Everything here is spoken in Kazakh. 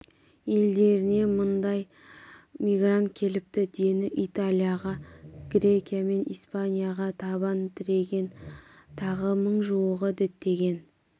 елдеріне мыңдай мигрант келіпті дені италияға грекия мен испанияға табан тіреген тағы мың жуығы діттеген